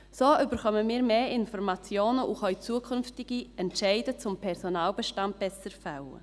So erhalten wir mehr Informationen und können zukünftige Entscheide zum Personalbestand besser fällen.